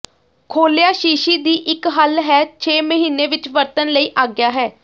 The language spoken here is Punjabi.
ਖੋਲ੍ਹਿਆ ਸ਼ੀਸ਼ੀ ਦੀ ਇੱਕ ਹੱਲ ਹੈ ਛੇ ਮਹੀਨੇ ਵਿੱਚ ਵਰਤਣ ਲਈ ਆਗਿਆ ਹੈ